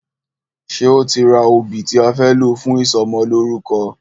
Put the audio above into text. Ṣe o ti ra obì tí a fẹ́ lò fún ìsọmọlórúkọ?